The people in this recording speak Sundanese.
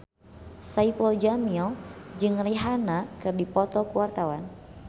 Saipul Jamil jeung Rihanna keur dipoto ku wartawan